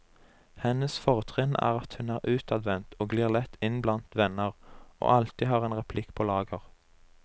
Hennes fortrinn er at hun er utadvendt og glir lett inn blant venner, og alltid har en replikk på lager.